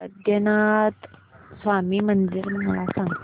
पद्मनाभ स्वामी मंदिर मला सांग